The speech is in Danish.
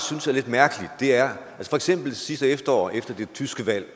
synes er lidt mærkeligt er at for eksempel sidste efterår efter det tyske valg